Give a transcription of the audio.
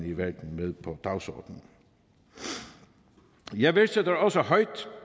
i verden med på dagsordenen jeg værdsætter også højt